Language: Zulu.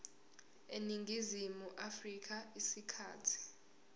eningizimu afrika isikhathi